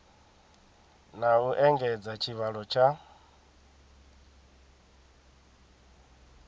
na u engedza tshivhalo tsha